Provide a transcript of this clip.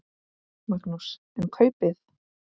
Magnús: En kaupið?